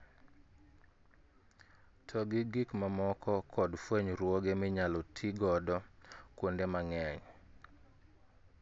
To gi gik mamoko kod fwenyruoge minyal ti godo kuonde mang'eny